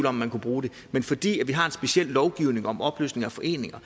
om man kunne bruge det men fordi vi har en speciel lovgivning om opløsning af foreninger